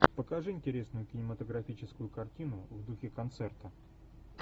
покажи интересную кинематографическую картину в духе концерта